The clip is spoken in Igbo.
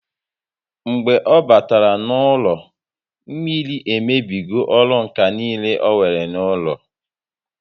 Mgbe ọ batara n'ụlọ, mmiri emebigo ọrụ ǹkà niile onwere n'ụlọ